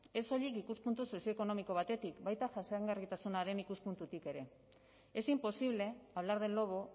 ez soilik ikuspuntu sozioekonomiko batetik baita jasangarritasunaren ikuspuntutik ere es imposible hablar del lobo